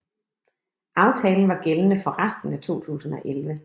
Aftalen var gældende for resten af 2011